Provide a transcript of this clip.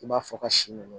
I b'a fɔ ka si ɲɔ